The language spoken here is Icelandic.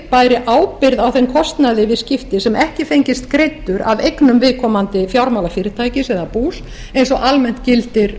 bæri ábyrgð á þeim kostnaði við skipti sem ekki fengist greiddur af eignum viðkomandi fjármálafyrirtækis eða bús eins og almennt gildir